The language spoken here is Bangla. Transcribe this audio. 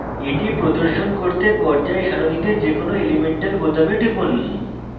এটি প্রদর্শন করতে পর্যায় সারণীতে যে কোনো element বোতামে টিপুন